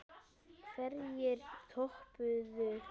Hverjir töpuðu?